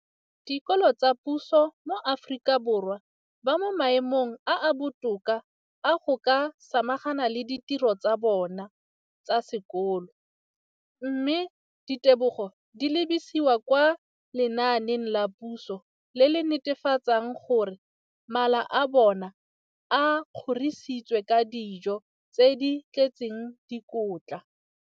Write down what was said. Dikolo tsa puso mo Aforika Borwa ba mo maemong a a botoka a go ka samagana le ditiro tsa bona tsa sekolo, mme ditebogo di lebisiwa kwa lenaaneng la puso le le netefatsang gore mala a bona a kgorisitswe ka dijo tse di tletseng dikotla.